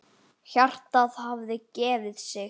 Hjartað hafði gefið sig.